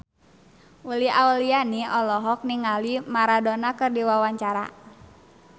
Uli Auliani olohok ningali Maradona keur diwawancara